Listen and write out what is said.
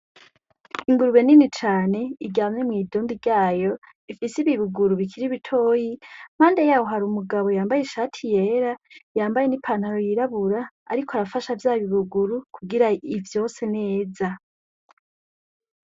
Ingurube nini cane iryamye mwidundi ryayo ifise ibibuguru bikiri bitoya impande yayo hari umugabo yambaye ishati yera, yambaye ni pantaro yirabura ariko arafasha vyabibuguru kugira ivyonse neza.